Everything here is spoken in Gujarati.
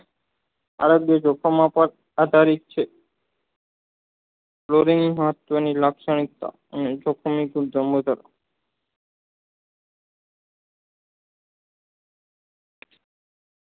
અલગ દેશો માં પણ આધારિત છે વલોવીન તેની લાક્ષણિકતા અને